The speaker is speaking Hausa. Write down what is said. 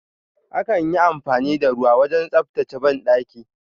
Akan yi amfani da ruwa wajen tsabtace banɗaki.